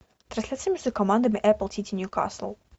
трансляция между командами апл сити ньюкасл